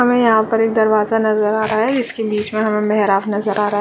हमें यहाँ पे एक दरवाजा नजर आ रहा है जिसके बीच मे हमे मेहराब नजर आ रहा है।